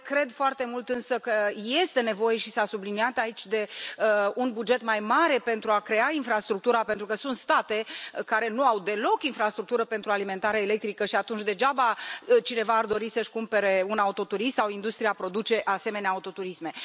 Cred foarte mult însă că este nevoie și s a subliniat aici de un buget mai mare pentru a crea infrastructura, pentru că sunt state care nu au deloc infrastructură pentru alimentare electrică și atunci degeaba cineva ar dori să își cumpere un autoturism sau industria produce asemenea autoturisme.